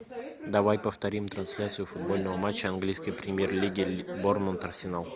давай повторим трансляцию футбольного матча английской премьер лиги борнмут арсенал